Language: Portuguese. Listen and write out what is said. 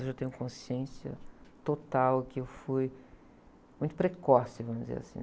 Hoje eu tenho consciência total que eu fui muito precoce, vamos dizer assim.